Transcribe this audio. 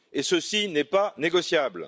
Ce n'est pas négociable!